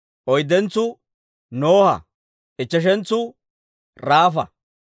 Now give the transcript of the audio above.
oyddentsuu Noha; ichcheshentsu Raafa.